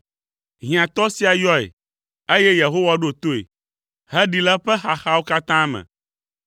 Hiãtɔ sia yɔe, eye Yehowa ɖo toe, heɖee le eƒe xaxawo katã me.